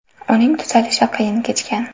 Uning tuzalishi qiyin kechgan.